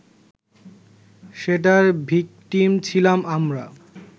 সেটার ভিকটিম ছিলাম আমরা